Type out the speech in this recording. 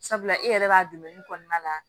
Sabula e yɛrɛ b'a kɔnɔna la